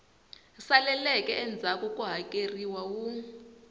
saleleke endzhaku ku hakeleriwa wu